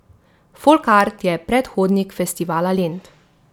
Folkart je predhodnik Festivala Lent.